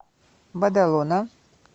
бадалона